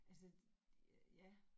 Altså ja